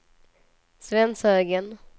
Svenshögen